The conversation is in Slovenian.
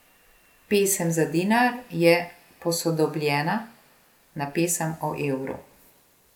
Pesem za dinar je posodobljena na pesem o evru.